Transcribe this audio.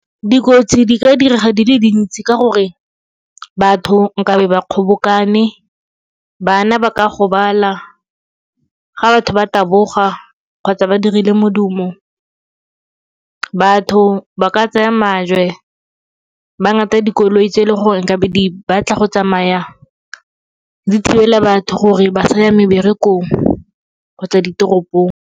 Dikotsi di ka direga di le dintsi ka gore batho nkabe ba kgobokane, bana ba ka gobala ga batho ba taboga kgotsa ba dirile modumo. Batho ba ka tsaya majwe ba ngata dikoloi tse e le gore nkabe di batla go tsamaya di thibela batho gore ba sa ya meberekong kgotsa ditoropong.